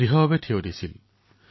তেওঁ অস্পৃশ্যতাৰ বিৰুদ্ধে মাত মাতিছিল